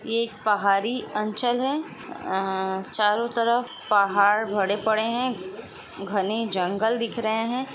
ये एक पहाड़ी अंचल हैं अअअअ चारो तरफ़ पहाड़ भरे पड़े हैं घने जंगल दिख रहे हैं।